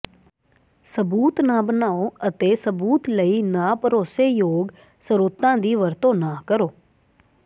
ਸਬੂਤ ਨਾ ਬਣਾਉ ਅਤੇ ਸਬੂਤ ਲਈ ਨਾ ਭਰੋਸੇਯੋਗ ਸਰੋਤਾਂ ਦੀ ਵਰਤੋਂ ਨਾ ਕਰੋ